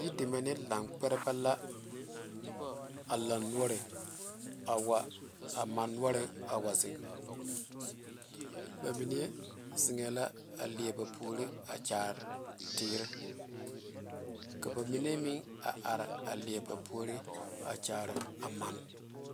Yideme ne lankpɛrebɛ la a laŋ noɔre a wa a mane noɔre a wa zeŋ ba mine zeŋe la a leɛ ba puori a kyaare teere ka ba mine meŋ a are a leɛ ba puori a kyaare a mane.